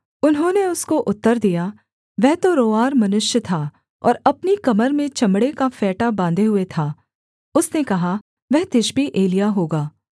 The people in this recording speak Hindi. उन्होंने उसको उत्तर दिया वह तो रोंआर मनुष्य था और अपनी कमर में चमड़े का फेंटा बाँधे हुए था उसने कहा वह तिशबी एलिय्याह होगा